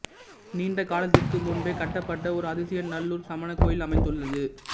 நீண்ட காலத்திற்கு முன்பே கட்டப்பட்ட ஒரு அதிசய நல்லூர் சமண கோயில் அமைந்துள்ளது